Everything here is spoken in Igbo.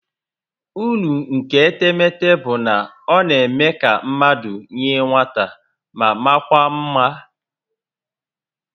Uru nke etemete bụ na ọ na-eme ka mmadụ yie nwata ma makwaa mma